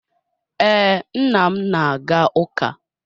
Ee, nna m na-aga ụka.